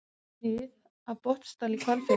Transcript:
Snið af Botnsdal í Hvalfirði.